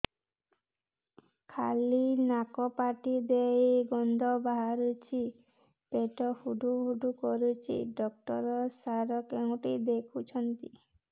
ଖାଲି ନାକ ପାଟି ଦେଇ ଗଂଧ ବାହାରୁଛି ପେଟ ହୁଡ଼ୁ ହୁଡ଼ୁ କରୁଛି ଡକ୍ଟର ସାର କେଉଁଠି ଦେଖୁଛନ୍ତ